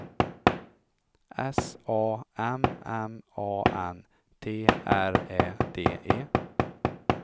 S A M M A N T R Ä D E